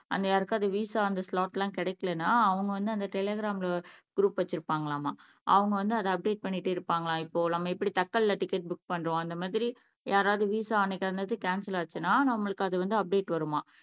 and யாருக்காவது visa அந்த slot எல்லாம் கிடைக்கலைன்னா அவங்க வந்து அந்த டெலிகிராம்ல குரூப் வச்சிருப்பாங்களாமா அவங்க வந்து அதை அப்டேட் பண்ணிட்டு இருப்பாங்களாம் இப்போ நம்ம எப்படி தக்கல்லே டிக்கெட் புக் பண்றோம் அந்த மாதிரி யாராவது விஸா அன்னைக்கு வந்தது கேன்செல் ஆச்சுன்னா நம்மளுக்கு அது வந்து அப்டேட் வருமாம்